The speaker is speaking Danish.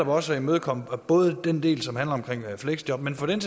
også at imødekomme både den del som handler om fleksjob men for den